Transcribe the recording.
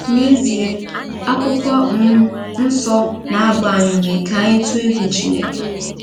N’ezie, Akwụkwọ um Nsọ na-agba anyị ume ka anyị tụọ egwu Chineke.